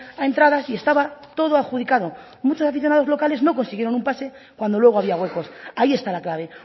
a entradas y estaba todo adjudicado muchos aficionados locales no consiguieron un pase cuando luego había huecos ahí está la clave